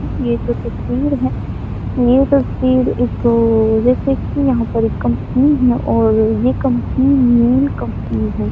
हम ये जो तस्वीर है ये तस्वीर एक्क्क जैसे की यहाँ पर एक कंपनी है और ये कम्पनी मेन कम्पनी है।